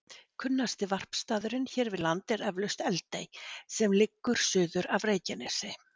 Kunnasti varpstaðurinn hér við land er eflaust Eldey sem liggur suður af Reykjanesi.